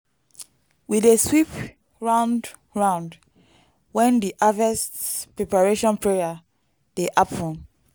we dey sweep round-round when di harvest preparation prayer dey happen.